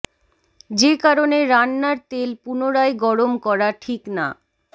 যে কারণে রান্নার তেল পুনরায় গরম করা ঠিক না